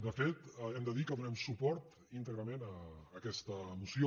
de fet hem de dir que donem suport íntegrament a aquesta moció